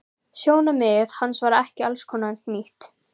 Sjónarmið hans var ekki allskostar nýtt.